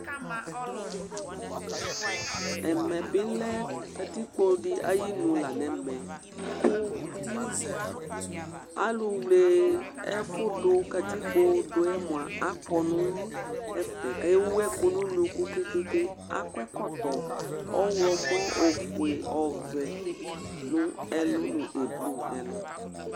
Ɛmɛlɛ bi lɛ katikpo di ayʋ inu la nʋ ɛmɛ kʋ alu wle ɛfʋ du, katikpo du yɛ akɔ nʋ ɛfɛ kʋ ewu ɛku nʋ ʋnʋku ke ke ke Akɔ ɛkɔtɔ ɔwlɔmɔ ɔfʋe, ɔwlɔmɔ, ɔvɛ nʋ ɛlu nʋ ɛblu nʋ ɛlu